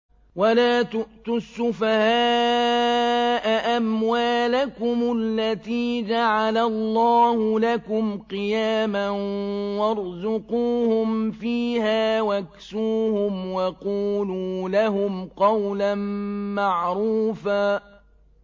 وَلَا تُؤْتُوا السُّفَهَاءَ أَمْوَالَكُمُ الَّتِي جَعَلَ اللَّهُ لَكُمْ قِيَامًا وَارْزُقُوهُمْ فِيهَا وَاكْسُوهُمْ وَقُولُوا لَهُمْ قَوْلًا مَّعْرُوفًا